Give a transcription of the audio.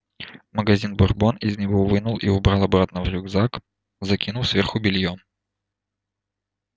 магазин бурбон из него вынул и убрал обратно в рюкзак закинув сверху бельём